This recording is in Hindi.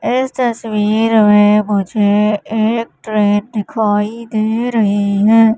इस तस्वीर में मुझे एक ट्रेन दिखाई दे रही है।